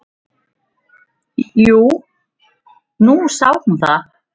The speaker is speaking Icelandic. """Jú, nú sá hún það."""